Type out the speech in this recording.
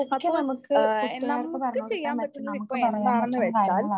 അപ്പോ നമുക്ക് ചെയ്യാൻ പറ്റുന്നത് ഇപ്പോൾ എന്താന്നുവെച്ചാൽ